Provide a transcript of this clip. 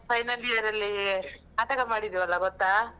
Final year ಅಲ್ಲಿ ನಾಟಕಾ ಮಾಡಿದೆವಲ್ಲ ಗೊತ್ತಾ?